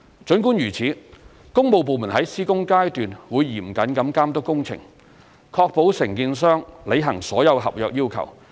儘管如此，工務部門在施工階段會嚴謹地監督工程，確保承建商履行所有合約要求。